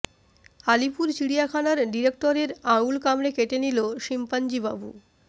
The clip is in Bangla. আলিপুর চিড়িয়াখানার ডিরেক্টরের আঙুল কামড়ে কেটে নিল শিম্পাঞ্জী বাবু